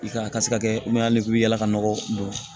I ka a ka se ka kɛ yala ka nɔgɔ don